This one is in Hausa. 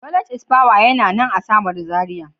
Knowledge is power yana nan a samaru zaria.